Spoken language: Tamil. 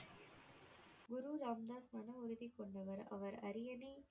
குரு ராம் தாஸ் மன உறுதிக்கொண்டவர் அவர் அரியணை